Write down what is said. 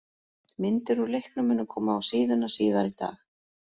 Myndir úr leiknum munu koma á síðuna síðar í dag.